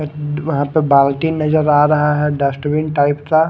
वहा पे बाल्टी नजर आ रहा है डस्टबीन टाइप का--